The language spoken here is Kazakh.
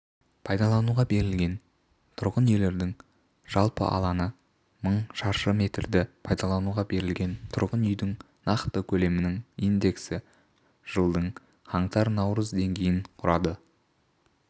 пайдалануға берілген тұрғын үйлердің жалпы алаңы мың шаршы метрді пайдалануға берілген тұрғын үйдің нақты көлемінің индексі жылдың қаңтар-наурыз деңгейін құрады